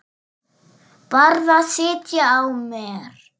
Varð að sitja á mér.